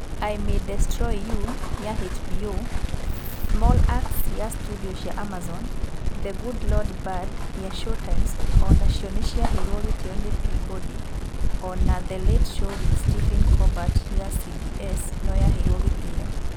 I May Destroy You' ya HBO, 'Small Axe' ya studio cia Amazon na 'The Good Lord Bird' ya Showtimes o nacio nĩ ciaheirwo gĩtĩo nĩ Peabody, o na 'The Late Show with Stephen Colbert ya CBS no yaheirwo gĩtĩo.